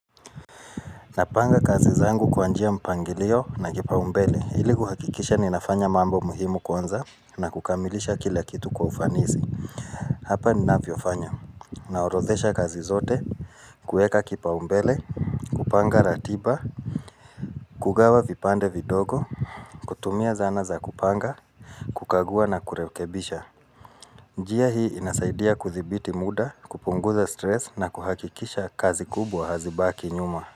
Napanga kazi zangu kwa njia mpangilio na kipaumbele. Ili kuhakikisha ninafanya mambo muhimu kwanza na kukamilisha kila kitu kwa ufanisi. Hapa ninavyofanya. Naorodhesha kazi zote, kuweka kipaumbele, kupanga ratiba, kugawa vipande vidogo, kutumia zana za kupanga, kukagua na kurekebisha. Njia hii inasaidia kuthibiti muda, kupunguza stress na kuhakikisha kazi kubwa hazibaki nyuma.